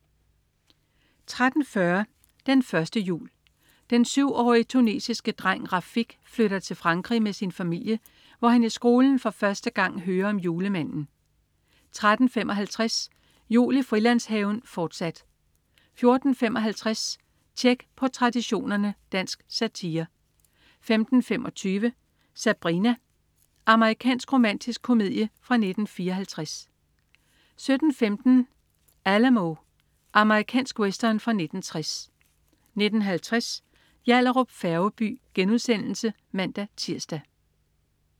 13.40 Den første jul. Den syvårige tunesiske dreng Rafik flytter til Frankrig med sin familie, hvor han i skolen for første gang hører om julemanden 13.55 Jul i Frilandshaven, fortsat 14.55 Tjek på Traditionerne. Dansk satire 15.25 Sabrina. Amerikansk romantisk komedie fra 1954 17.15 Alamo. Amerikansk western fra 1960 19.50 Yallahrup Færgeby* (man-tirs)